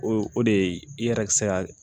O o de ye i yɛrɛ bi se ka